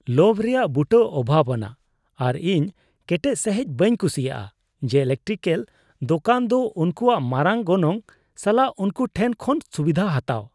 ᱞᱳᱵᱷ ᱨᱮᱭᱟᱜ ᱵᱩᱴᱟᱹ ᱚᱵᱷᱟᱵᱽ ᱟᱱᱟᱜ, ᱟᱨ ᱤᱧ ᱠᱮᱴᱮᱡ ᱥᱟᱹᱦᱤᱡ ᱵᱟᱹᱧ ᱠᱩᱥᱤᱭᱟᱜᱼᱟ ᱡᱮ ᱤᱞᱮᱠᱴᱨᱤᱠᱮᱞ ᱫᱚᱠᱟᱱ ᱫᱚ ᱩᱱᱠᱩᱭᱟᱜ ᱢᱟᱨᱟᱝ ᱜᱚᱱᱚᱝ ᱥᱟᱞᱟᱜ ᱩᱱᱠᱩ ᱴᱷᱮᱱ ᱠᱷᱚᱱ ᱥᱩᱵᱤᱫᱷᱟ ᱦᱟᱛᱟᱣ ᱾